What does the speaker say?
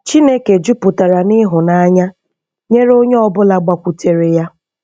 Chineke jupụtara n'ịhụnanya nyere onye ọbụla gbakwutere ya